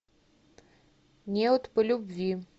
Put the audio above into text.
неуд по любви